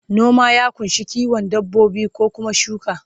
noma ya kunsa kiwon dabbobi ko Kuma shuka